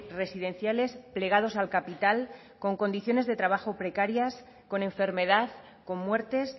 residenciales plegados al capital con condiciones de trabajo precarias con enfermedad con muertes